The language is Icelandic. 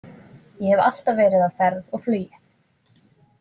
Ég hef alltaf verið á ferð og flugi.